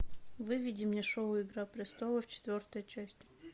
выведи мне шоу игра престолов четвертая часть